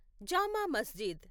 జామా మస్జిద్